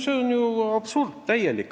See on ju täielik absurd.